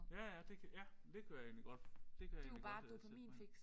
Ja ja det kan ja det kunne jeg egentlig godt det kan jeg egentlig godt sætte mig ind i